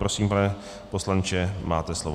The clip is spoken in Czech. Prosím, pane poslanče, máte slovo.